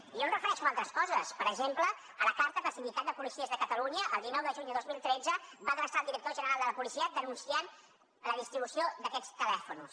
jo em refereixo a altres coses per exemple a la carta que el sindicat de policies de catalunya el dinou de juny de dos mil tretze va adreçar al director general de la policia per denunciar la distribució d’aquests telèfons